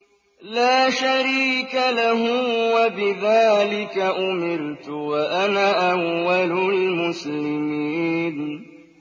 لَا شَرِيكَ لَهُ ۖ وَبِذَٰلِكَ أُمِرْتُ وَأَنَا أَوَّلُ الْمُسْلِمِينَ